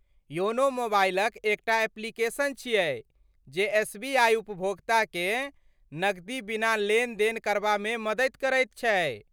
YONO मोबाइलक एकटा application छियै जे एसबीआइ उपभोक्ताकेँ नकदी बिना लेनदेन करबामे मदति करैत छै।